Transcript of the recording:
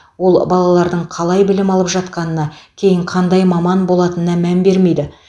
ол балалардың қалай білім алып жатқанына кейін қандай маман болатынына мән бермейді